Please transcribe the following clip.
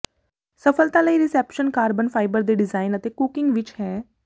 ਸਫਲਤਾ ਲਈ reception carbon fibre ਦੇ ਡਿਜ਼ਾਈਨ ਅਤੇ ਕੁੱਕਿੰਗ ਵਿੱਚ ਹੈ